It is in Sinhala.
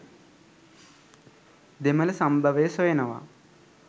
දෙමළ සම්භවය සොයනවා.